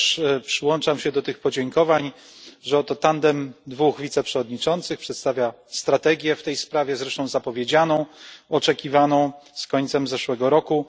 Też przyłączam się do tych podziękowań, że oto tandem dwóch wiceprzewodniczących przedstawia strategię w tej sprawie, zresztą zapowiedzianą, oczekiwaną z końcem zeszłego roku.